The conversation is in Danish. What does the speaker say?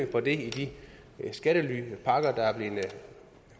på det i de skattelypakker der er blevet